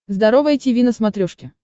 здоровое тиви на смотрешке